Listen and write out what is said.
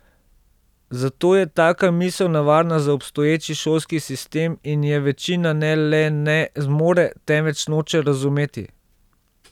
Zato je taka misel nevarna za obstoječi šolski sistem in je večina ne le ne zmore, temveč noče razumeti.